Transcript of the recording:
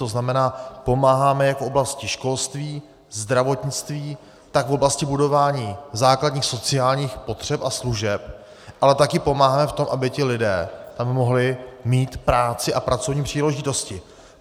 To znamená, pomáháme jak v oblasti školství, zdravotnictví, tak v oblasti budování základních sociálních potřeb a služeb, ale také pomáháme v tom, aby ti lidé tam mohli mít práci a pracovní příležitosti.